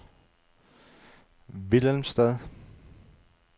Willemstad